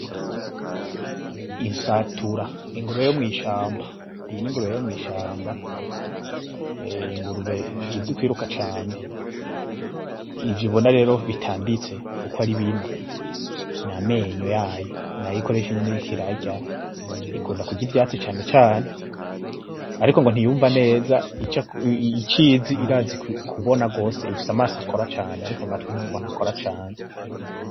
Insatura ingurube yomwishamba, iyi ningurube yomwishamba, ingurube izi kwiruka cane. Ivyo ubona rero bitambitse ukwaribine namenyo yayo, nayo ikoresha nyene iriko irarya, ikunda kurya ivyatsi cane cane ariko ngo ntiyumva neza icizi irazi kubona gose ifise amaso akora cane ariko ngo amatwi ntakora cane.